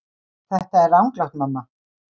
Þetta er ranglátt mamma.